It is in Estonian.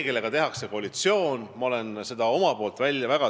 Kellega tehakse koalitsioon?